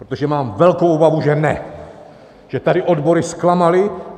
Protože mám velkou obavu, že ne, že tady odbory zklamaly.